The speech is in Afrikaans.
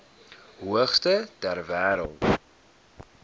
hoogste ter wêreld